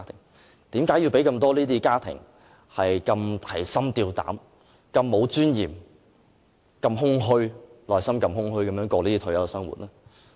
為甚麼要令這麼多的家庭提心吊膽，如此沒有尊嚴，內心這麼空虛地度過退休生活？